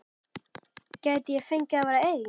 Gæti ég fengið að vera einn?